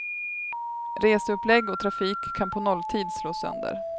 Reseupplägg och trafik kan på nolltid slås sönder.